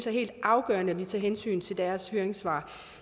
er helt afgørende at vi tager hensyn til deres høringssvar